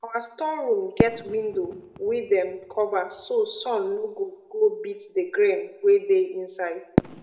our store room get window wey dem cover so sun no go go beat d grain wey de inside